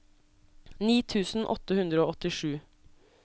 ni tusen åtte hundre og åttisju